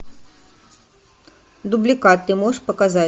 дубликат ты можешь показать